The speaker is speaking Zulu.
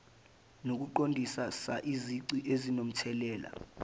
nokuqondisisa izici ezinomthelela